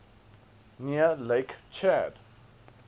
near lake chad